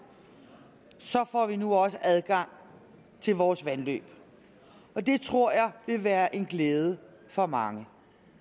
så får vi nu også adgang til vores vandløb og det tror jeg vil være en glæde for mange